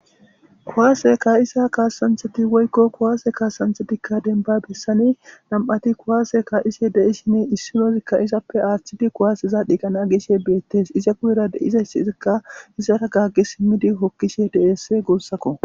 Kuwaase kaa7isa kaasanthati woykko kuwaase kaasanthetikka denba bessani nam7ati kuwaase kaa7ise de7i shine issinozikka isappe aaththidi kuwaasiza dhiiqana agishe beettes iza guyera deiza yssiizikka issara gaggi simmidi hokkishe de7ess guurssakko.